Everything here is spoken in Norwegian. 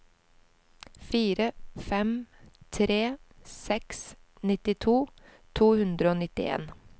fire fem tre seks nittito to hundre og nittien